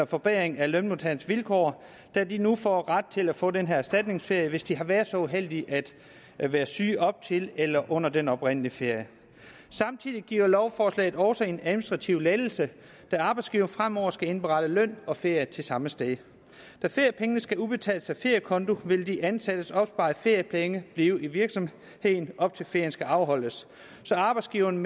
forbedring af lønmodtagernes vilkår da de nu får ret til at få den her erstatningsferie hvis de har været så uheldige at være syge op til eller under den oprindelige ferie samtidig giver lovforslaget også en administrativ lettelse da arbejdsgiveren fremover skal indberette løn og ferie til samme sted da feriepengene skal udbetales af feriekonto vil de ansattes opsparede feriepenge blive i virksomheden op til at ferien skal afholdes så arbejdsgiverne